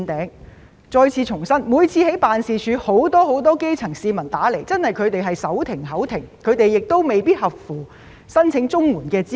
我再次重申，我在辦事處工作時，經常收到基層市民來電，他們確實手停口停又未必符合申請綜援資格。